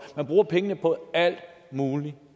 man bruger pengene på alt muligt